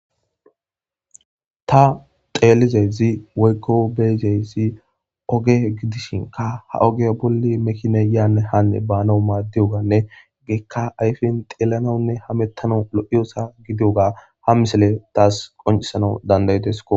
Tha xeellizayssi woykko be7idayssi oge gidishinkka ha ogiya bolli mekiinay yaanne haanne baanawu maaddiyoogaanne hegeekka ayfen xeellanawunne hameththanawu lo7iyasaa gidoogga ha misilee thas qonccissanas dandda7ides koo.